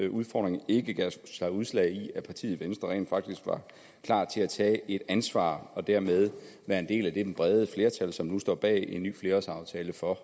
udfordringer ikke gav sig udslag i at partiet venstre rent faktisk var klar til at tage et ansvar og dermed være en del af det brede flertal som nu står bag en ny flerårsaftale for